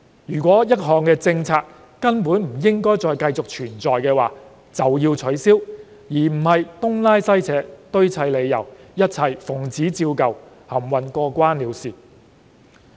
如果一項政策根本不應存在便乾脆取消，而不是東拉西扯、堆砌理由、一切奉旨照舊、含混過關了事。